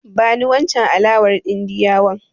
Bani wancen alawar Indiyawan.